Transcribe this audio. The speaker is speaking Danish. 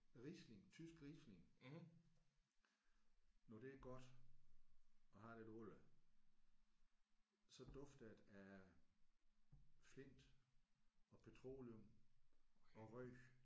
Riesling tysk Riesling når det er godt og har lidt alder så dufter det af flint og petroleum og røg